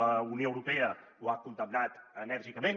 la unió europea ho ha condemnat enèrgicament